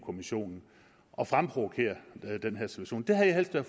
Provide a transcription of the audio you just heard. kommissionen og fremprovokerer den her situation det havde jeg